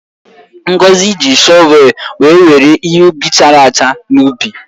Ngozi ji shọvelụ were were ihe ubi chara acha n’ubi.